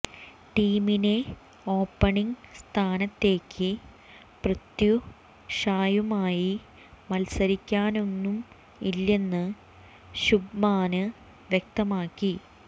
ടീമിനെ ഓപണിങ് സ്ഥാനത്തേക്ക് പൃഥ്വി ഷായുമായി മത്സരിക്കാനൊന്നും ഇല്ലെന്ന് ശുഭ്മാന് വ്യക്തമാക്കി